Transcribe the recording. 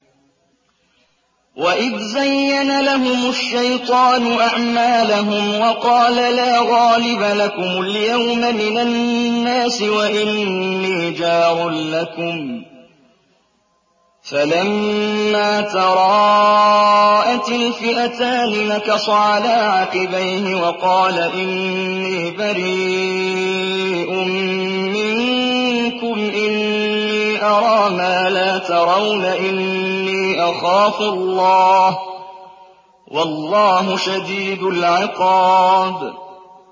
وَإِذْ زَيَّنَ لَهُمُ الشَّيْطَانُ أَعْمَالَهُمْ وَقَالَ لَا غَالِبَ لَكُمُ الْيَوْمَ مِنَ النَّاسِ وَإِنِّي جَارٌ لَّكُمْ ۖ فَلَمَّا تَرَاءَتِ الْفِئَتَانِ نَكَصَ عَلَىٰ عَقِبَيْهِ وَقَالَ إِنِّي بَرِيءٌ مِّنكُمْ إِنِّي أَرَىٰ مَا لَا تَرَوْنَ إِنِّي أَخَافُ اللَّهَ ۚ وَاللَّهُ شَدِيدُ الْعِقَابِ